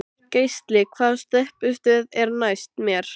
Geisli, hvaða stoppistöð er næst mér?